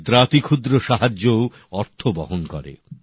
ক্ষুদ্রাতিক্ষুদ্র সাহায্যও অর্থ বহন করে